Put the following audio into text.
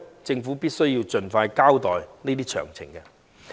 政府必須盡快交代有關詳情。